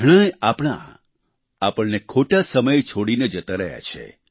ઘણાંય આપણા આપણને ખોટા સમયે છોડીને જતા રહ્યા છે